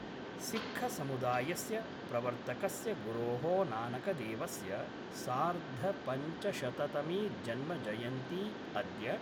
सिक्खसमुदायस्य प्रवर्तकस्य गुरो: नानकदेवस्य सार्ध पञ्चशततमी जन्मजयन्ती अद्य